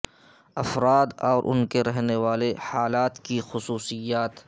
افراد اور ان کے رہنے والے حالات کی خصوصیات